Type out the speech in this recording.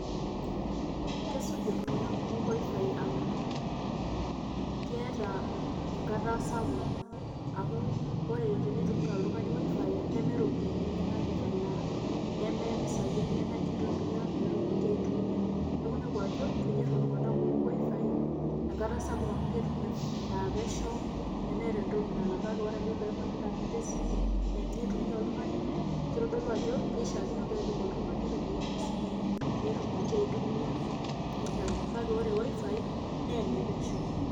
Kesuj iltungana kumok Wi-Fi amuu keeta enkata apuk amu ore teneitumia oltungani WIFI neme ropiyiani enyanak etalaa neme mpisai enyanak eitumiya pee etumoki aitumiya neeku inepu ajo kenyorr iltunganak kumok WIFI enkata sapuk amu ketum pesho nemeeta entoki nalak kake ore pee eeku intanet esimu enye eitumiya oltungani keitodolu ajo keishaakino pee epik oltungani ropiyiani esimu enye pee etumoki aitumiya intanet kake ore WIFI naa ene pesho.